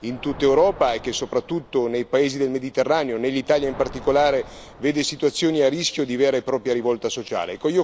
in tutta Europa e che, soprattutto nei paesi del Mediterraneo, nell'Italia in particolare, vede situazioni a rischio di vera e propria rivolta sociale.